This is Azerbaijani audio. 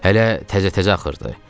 Hələ təzə-təzə axırdı.